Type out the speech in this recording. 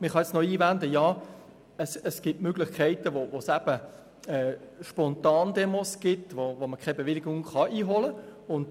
Man kann jetzt noch einwenden, dass es Spontandemos gibt, für die man keine Bewilligung einholen kann.